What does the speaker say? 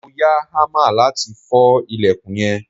mo ya hammer lati fo ilekun yen